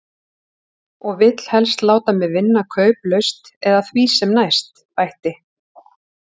Og vill helst láta mig vinna kauplaust eða því sem næst, bætti